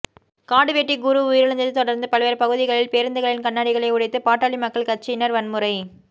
காடுவெட்டி குரு உயிரிழந்ததை தொடர்ந்து பல்வேறு பகுதிகளில் பேருந்துகளின் கண்ணாடிகளை உடைத்து பாட்டாளி மக்கள் கட்சியினர் வன்முறை